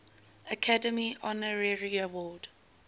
academy honorary award